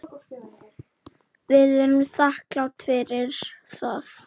Við erum þakklát fyrir það.